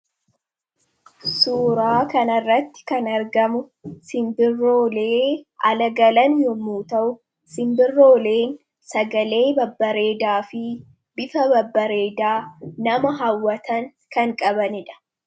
suuraa kan irratti kan argamu simbiroolee ala galan yoommu ta'u simbirooleen sagalee babbareedaa fi bifa babbareedaa nama hawwatan kan qabanidha.